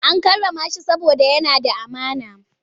An karrama shi saboda yana da amana.